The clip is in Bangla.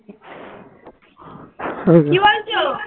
কি বলছো